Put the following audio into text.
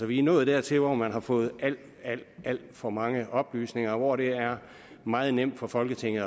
vi er nået dertil hvor man har fået alt alt for mange oplysninger og hvor det er meget nemt for folketinget